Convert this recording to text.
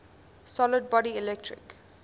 solid body electric